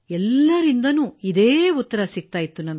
ಎಲ್ಲರಿಂದಲೂ ಇದೇ ಉತ್ತರ ದೊರೆತಿತ್ತು